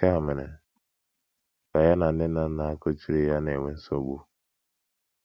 Nke a mere ka ya na nne na nna kuchiri ya na - enwe nsogbu.